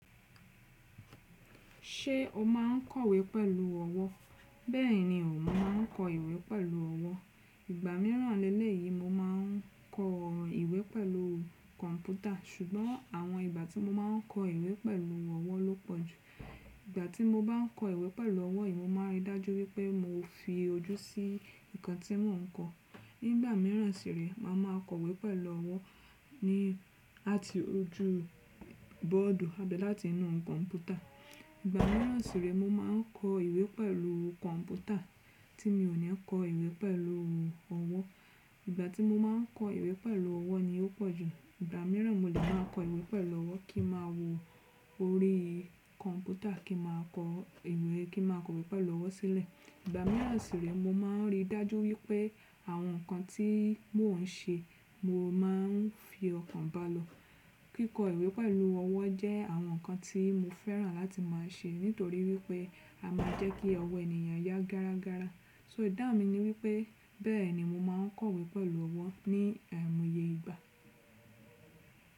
Ṣé o máa ń kọ̀wé pẹ̀lú ọwọ́? Bẹ́ẹ̀ni o, mo máa ń kọ ìwé pẹ̀lú ọwọ́. Igba míràn lelé yìí mo ma ń kọ ìwé pẹ̀lú kọ̀ǹpútà, ṣùgbọ́n àwọn ìgbà tí mo ma ń kọ ìwé pẹ̀lú ọwọ́ ló pọ̀ jù. Igba tí mo bá ń kọ ìwé pẹ̀lú ọwọ́ yìí, mo máa ń rí dájú wípé mo fi ojú sí nǹkan tí mò ń kọ. Ní ìgbà míràn sì rèé màá má a kọ̀wé pẹ̀lú ọwọ́ ní à ti rójú u bọ́ọ̀dù àbí láti inúu kọ̀ǹpútà. Igba míràn sì rẹ, mo ma ń kọ ìwé pẹ̀lú kọ̀ǹpútà tí mi ò ní kọ ìwé pẹ̀lú ọwọ́. Igba tí mo ma ń kọ ìwé pẹ̀lú ọwọ́ ni ó pọ̀ jù. Igba míràn mo lè máa kọ ìwé pẹ̀lú ọwọ́ kí ma wò órí kọ̀ǹpútà kí ma kọ ìwé kí ma kọ̀wé pẹ̀lú ọwọ́ sílẹ̀. Igba míràn sì rẹ, mo ma ń rí dájú wípé àwọn nǹkan tí mò ń ṣe, mo máa ń fi ọkàn báa lọ. Kíkọ ìwé pẹ̀lú ọwọ́ jẹ́ àwọn nǹkan tí mo fẹ́ràn láti máa ṣe nítorí wípé a máa jẹ́ kí ọwọ́ ènìyàn yá gárágára. So ìdáhùn mi ni wípé bẹẹni mo ma ń kọ̀wé pẹ̀lú ọwọ́ ní àìmoye ìgbà.